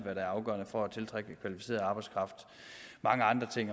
er afgørende for at tiltrække kvalificeret arbejdskraft